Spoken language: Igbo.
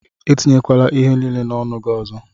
Etinyekwala ihe niile n'ọnụ gị ọzọ!